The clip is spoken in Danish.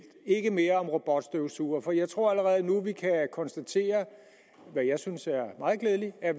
ikke mere om robotstøvsugere for jeg tror allerede nu vi kan konstatere hvad jeg synes er meget glædeligt at